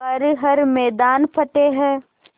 कर हर मैदान फ़तेह